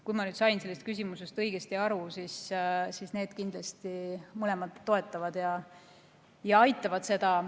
Kui ma sain sellest küsimusest õigesti aru, siis võin öelda, et need mõlemad kindlasti toetavad ja aitavad seda.